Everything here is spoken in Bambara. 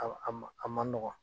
A man a man a man nɔgɔ.